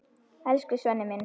Elsku Svenni minn.